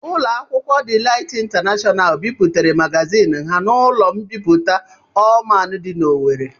Ụlọ akwụkwọ Delight International bipụtara magazin ha n'ụlọ mbipụta Allman dị n'Owerri.